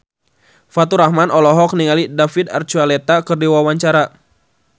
Faturrahman olohok ningali David Archuletta keur diwawancara